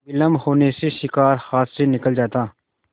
विलम्ब होने से शिकार हाथ से निकल जाता